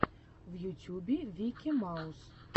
в ютюбе вики маус